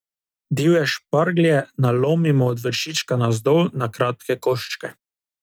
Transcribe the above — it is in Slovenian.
Divje šparglje nalomimo od vršička navzdol na kratke koščke.